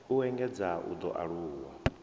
u engedzea u ḓo aluwa